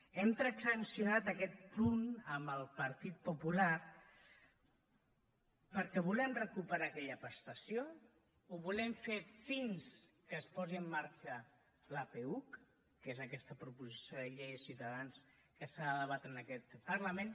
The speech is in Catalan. hem transaccionat aquest punt amb el partit popular perquè volem recuperar aquella prestació ho volem fer fins que es posi en marxa la peuc que és aquesta proposició de llei de ciutadans que s’ha de debatre en aquest parlament